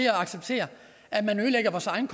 at acceptere at man ødelægger vores egen